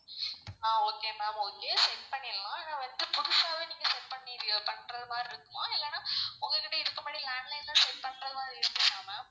ஆஹ் okay ma'am okay set பண்ணிர்லாம். ஆனா வந்து புதுசாவே நீங்க set பண்ணிர்றியோ பண்றமாறி இருக்குமா? இல்லனா உங்ககிட்ட இதுக்கு முன்னாடி landline ல set பண்றமாறி இருந்துச்சா ma'am?